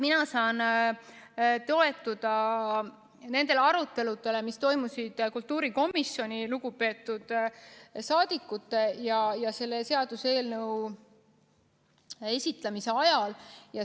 Mina saan toetuda nendele aruteludele, mis toimusid kultuurikomisjoni lugupeetud liikmete vahel selle seaduseelnõu esitlemise ajal.